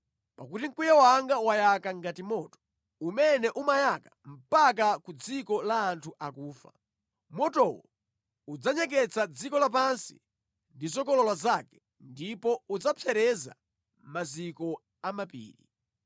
Pakuti mkwiyo wanga wayaka ngati moto, umene umayaka mpaka ku dziko la anthu akufa. Motowo udzanyeketsa dziko lapansi ndi zokolola zake ndipo udzapsereza maziko a mapiri.